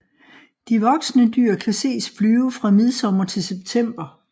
De voksne dyr kan ses flyve fra midsommer til september